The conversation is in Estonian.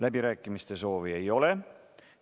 Läbirääkimiste soovi ei ole.